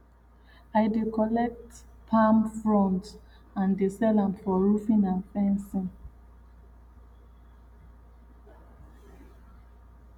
i dey collect palm fronds and dey sell am for roofing and fencing